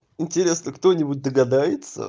интересно кто-нибудь догадается